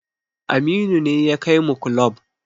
Aminu ne ya kai mu kulob